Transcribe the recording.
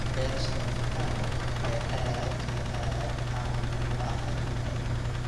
Beerashada avocado ayaa aad iyo aad caan uga ah adduunka.